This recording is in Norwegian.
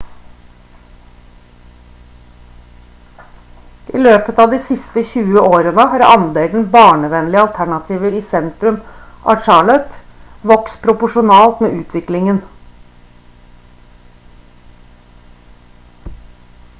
i løpet av de siste 20 årene har andelen barnevennlige alternativer i sentrum av charlotte vokst proporsjonalt med utviklingen